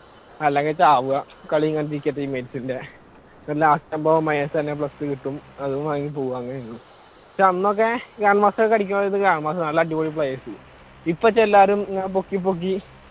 അല്ലെങ്കി ചാവുക പക്ഷെ അന്നൊക്കെ grand master നല്ല അടിപൊളി players ഇപ്പൊ എല്ലാവരും ഇങ്ങനെ പൊക്കി പൊക്കി